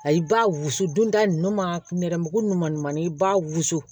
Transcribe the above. Ayi ba wusu donda nunnu ma nɛrɛmugu ninnu ma ɲuman i b'a wusu